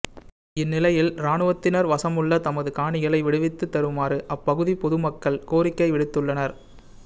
இந்நிலையில் இராணுவத்தினர் வசமுள்ள தமது காணிகளை விடுவித்து தருமாறு அப்பகுதிப் பொது மக்கள் கோரிக்கை விடுத்துள்னர்